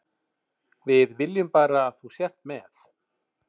Við viljum bara að þú sért með.